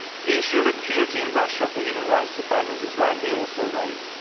The issue of impunity in Russia for human rights offenders is rightly also raised.